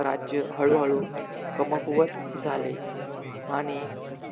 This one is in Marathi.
राज्य हळू हळू कमकुवत झाले. आणि